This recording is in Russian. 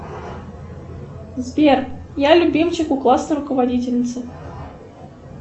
сбер я любимчик у классной руководительницы